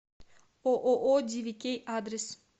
ооо дивикей адрес